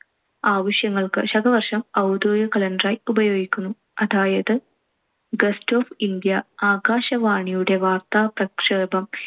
ആവശ്യങ്ങൾക്ക് ശകവർഷം ഔദ്യോഗിക കലണ്ടറായി ഉപയോഗിക്കുന്നു. അതായത് ഗസറ്റ് ഓഫ് ഇന്ത്യ, ആകാശവാണിയുടെ വാർത്താപ്രക്ഷേപം